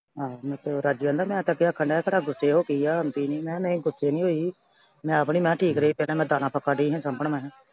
ਆਹੋ। ਮਖਾਂ ਰਾਜੂ ਆਂਹਦਾ ਮੈ ਤਾਂ ਕਿਹਾ ਖਨਾ ਕਿਹੜਾ ਗੁੱਸੇ ਹੋ ਗਈ ਆ ਆਂਦੀ ਨਈਂ, ਮੈਂ ਕਿਹਾ ਨਹੀਂ ਗੁੱਸੇ ਨੀ ਹੋਈ। ਮੈਂ ਵੀ ਮਖਾਂ ਠੀਕ ਨਈਂ ਰਹੀ। ਪਹਿਲਾਂ ਮੈਂ ਦਾਣਾ ਫੱਕਾ ਡਈ ਹਾਂ ਸਾਂਭਣ ਮੈਂ ਕਿਹਾ।